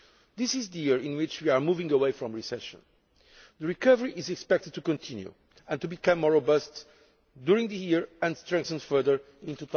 This is the year in which we are moving away from recession. The recovery is expected to continue and to become more robust during this year and to strengthen further in